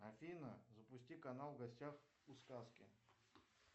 афина запусти канал в гостях у сказки